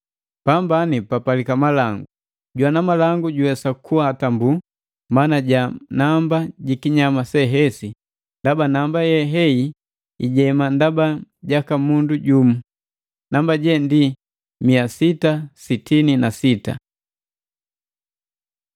Pambani papalika malangu! Jwana malangu juwesa kuhatambu mana ja namba jikinyama se hesi, ndaba namba ye hei ijema ndaba jaka mundu jumu. Namba je ndi mia sita sitini na sita.